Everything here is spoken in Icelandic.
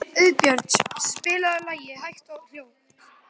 Auðbjörn, spilaðu lagið „Hægt og hljótt“.